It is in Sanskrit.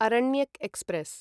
अरण्यक् एक्स्प्रेस्